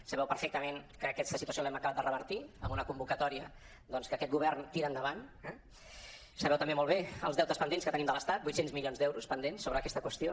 sabeu perfectament que aquesta situació l’hem acabat de revertir amb una convocatòria doncs que aquest govern tira endavant eh sabeu també molt bé els deutes pendents que tenim de l’estat vuit cents milions d’euros pendents sobre aquesta qüestió